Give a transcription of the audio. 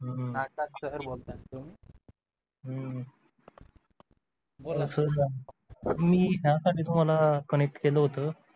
हम्म सर बोलताय ना तुम्ही हम्म मी यासाठी तुम्हाला connect केलं होत